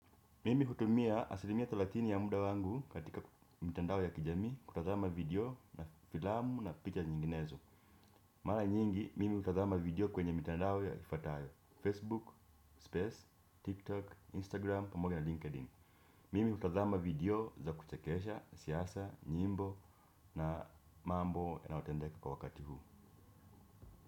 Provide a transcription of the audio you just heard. Mimi hutumia asilimia thelathini ya muda wangu katika mtandao ya kijamii kutazama vidio na filamu na picha nyinginezo. Mara nyingi, mimi hutazama video kwenye mitandao ifatayo. Facebook, Space, TikTok, Instagram, pamoja na LinkedIn. Mimi hutazama vidio za kuchekesha siasa, nyimbo na mambo ya nayotendeka kwa wakati huu.